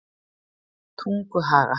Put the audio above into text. Tunguhaga